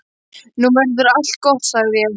Nú verður allt gott, sagði ég.